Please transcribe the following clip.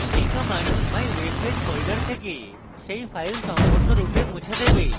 এই command mywebpage folder থেকে সেই file সম্পূর্ণরূপে মুছে দেবে